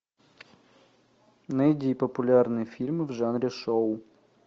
найди популярные фильмы в жанре шоу